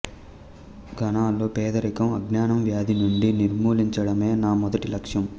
ఘనాలో పేదరికం అజ్ఞానం వ్యాధి నుండి నిర్మూలించడమే నా మొదటి లక్ష్యం